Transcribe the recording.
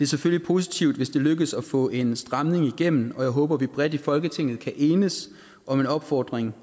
selvfølgelig positivt hvis det lykkes at få en stramning igennem og jeg håber at vi bredt i folketinget kan enes om en opfordring